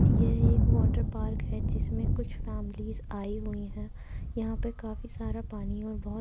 यह एक water park है। जिसमें कुछ फैमिलीज़ आई हुई है। यहां पर काफी सारा पानी और बहोत --